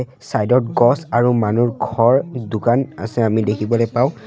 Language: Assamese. চাইড ত গছ আৰু মানুৰ ঘৰ দোকান আছে আমি দেখিবলৈ পাওঁ।